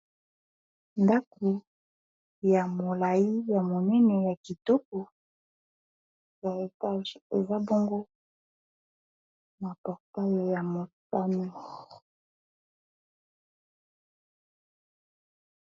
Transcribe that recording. Ndako ya molayi ya monene ya kitoko ya etage eza bongo na portayi ya motani.